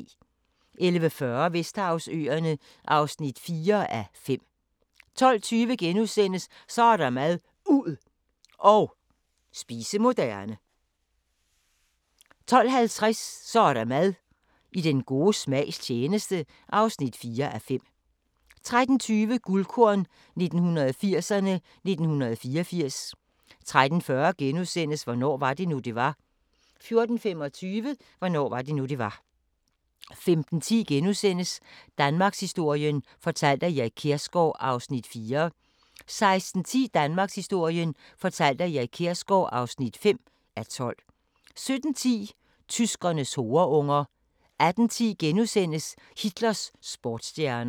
11:40: Vesterhavsøerne (4:5) 12:20: Så er der mad – ud og spise moderne (3:5)* 12:50: Så er der mad – I den gode smags tjeneste (4:5) 13:20: Guldkorn 1980'erne: 1984 13:40: Hvornår var det nu, det var? * 14:25: Hvornår var det nu, det var? 15:10: Danmarkshistorien fortalt af Erik Kjersgaard (4:12)* 16:10: Danmarkshistorien fortalt af Erik Kjersgaard (5:12) 17:10: Tyskernes horeunger 18:10: Hitlers sportsstjerner *